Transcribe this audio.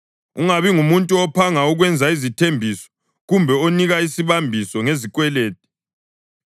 Ungabi ngumuntu ophanga ukwenza izithembiso kumbe onika isibambiso ngezikwelede;